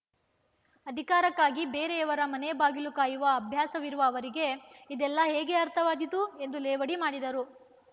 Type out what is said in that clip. ಅಧಿಕಾರಕ್ಕಾಗಿ ಬೇರೆಯವರ ಮನೆ ಬಾಗಿಲು ಕಾಯುವ ಅಭ್ಯಾಸವಿರುವ ಅವರಿಗೆ ಇದೆಲ್ಲ ಹೇಗೆ ಅರ್ಥವಾದೀತು ಎಂದು ಲೇವಡಿ ಮಾಡಿದರು